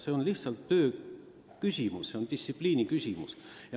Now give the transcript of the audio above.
See on lihtsalt töökorralduse küsimus, distsipliini küsimus.